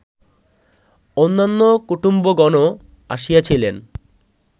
অন্যান্য কুটুম্বগণও আসিয়াছিলেন